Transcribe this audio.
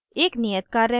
एक नियत कार्य में